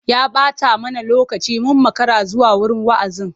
Ya ɓata mana lokaci mun makara zuwa wurin wa'azin.